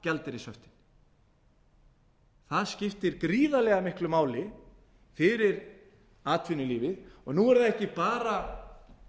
gjaldeyrishöftin það skiptir gríðarlega miklu máli fyrir atvinnulífið og nú eru það